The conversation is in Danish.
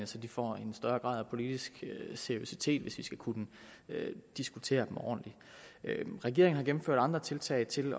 så de får en højere grad af politisk seriøsitet hvis vi skal kunne diskutere dem ordentligt regeringen har gennemført andre tiltag til